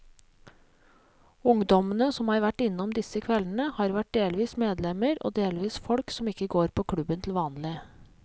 Ungdommene som har vært innom disse kveldene, har vært delvis medlemmer og delvis folk som ikke går på klubben til vanlig.